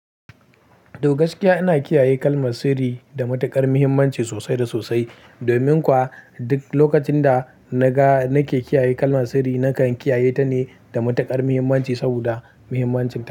Da gaskiya ina kiyaye kalmar sirri da matuƙar muhimmanci sosai da sosai. Domin kuwa duk lokacinda naga nake kiyaye kalmar sirri, nakan kiyaye tane da matuƙar muhimmanci saboda muhimmancinta.